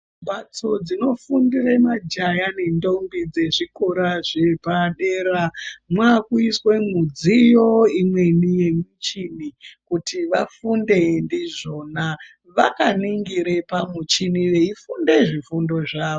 Mbatso dzinofundire majaya nendombi dzezvikora zvepadera mwakuiswe mwudziyo imweni yemuchini kuti vafunde ndizvona vakaningire pamuchini veifunde zvifundo zvavo.